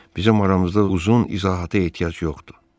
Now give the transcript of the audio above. Bizim aramızda uzun izahata ehtiyac yoxdur.